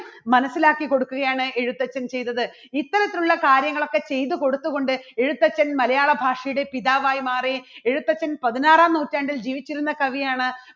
മനസ്സിലാക്കി കൊടുക്കുകയാണ് എഴുത്തച്ഛൻ ചെയ്തത്. ഇത്തരത്തിലുള്ള കാര്യങ്ങളൊക്കെ ചെയ്തു കൊടുത്തുകൊണ്ട് എഴുത്തച്ഛൻ മലയാളഭാഷയുടെ പിതാവായി മാറി എഴുത്തച്ഛൻ പതിനാറാം നൂറ്റാണ്ടിൽ ജീവിച്ചിരുന്ന കവിയാണ്.